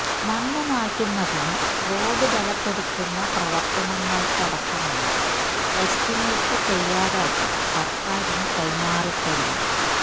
മണ്ണ് മാറ്റുന്നതിനും റോഡ് ബലപ്പെടുത്തുന്ന പ്രവർത്തനങ്ങൾക്കടക്കമുള്ള എസ്റ്റിമേറ്റ് തയ്യാറാക്കി സർക്കാരിന് കൈമാറിക്കഴിഞ്ഞു